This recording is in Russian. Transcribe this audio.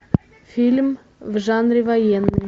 фильм в жанре военный